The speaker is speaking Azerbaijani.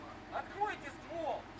Lüləni açın!